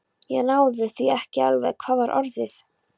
Ég náði því ekki alveg: hvað var orðið?